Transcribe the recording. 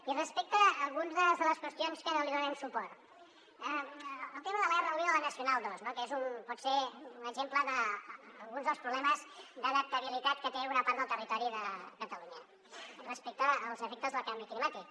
i respecte a algunes de les qüestions que no li donarem suport el tema de l’r1 i de la nacional ii no que pot ser un exemple d’alguns dels problemes d’adaptabilitat que té una part del territori de catalunya respecte als efectes del canvi climàtic